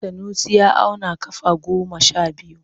Sanusi ya auna kafa goma sha biyu.